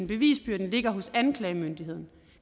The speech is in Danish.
bevisbyrden ligger hos anklagemyndigheden